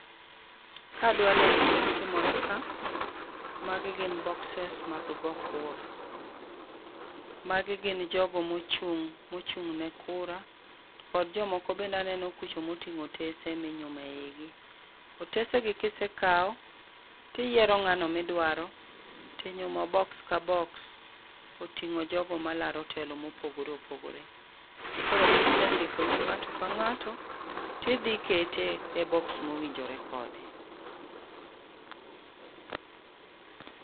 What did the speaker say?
Kadwa lero gima timore ka, magi gin boxes mag go kura. Magi gin jogo mochung', mochung' ne kura, kod jomoko bende aneno kucha moting'o otese minyumo eigi. Otesigi kisekao, tiyiero ng'ano midwaro tinyumo. Box ka box oting'o nying jogo malaro telo mopogore opogore. Koro kisendiko nying ng'ato ka ng'ato, tidhi kete e box mowinjore kode.